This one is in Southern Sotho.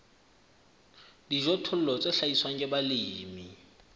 dijothollo tse hlahiswang ke balemi